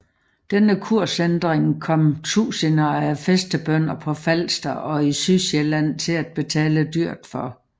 Denne kursændring kom tusinder af fæstebønder på Falster og i Sydsjælland til at betale dyrt for